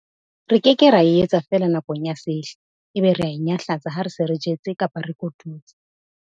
Re ke ke ra e etsa feela nakong ya sehla, ebe re a e nyahlatsa ha re se re jetse kapa re kotutse!